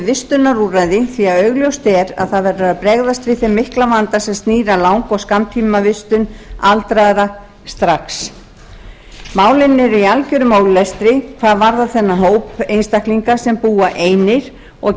vistunarúrræði því að augljóst er að það verður að bregðast við þeim mikla vanda sem snýr að lang og skammtímavistun aldraðra strax málin eru í algjörum ólestri hvað varðar þennan hóp einstaklinga sem búa einir og